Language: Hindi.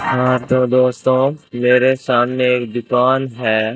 हां तो दोस्तों मेरे सामने एक दुकान है।